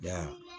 Ya